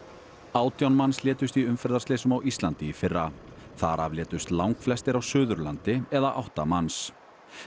átján manns létust í umferðarslysum á Íslandi í fyrra þar af létust langflestir á Suðurlandi eða átta manns